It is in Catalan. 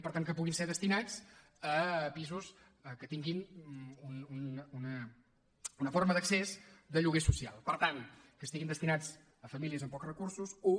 per tant que puguin ser destinats a pisos que tinguin una forma d’accés de lloguer social per tant que estiguin destinats a famílies amb pocs recursos un